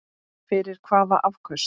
Fyrir hvaða afköst?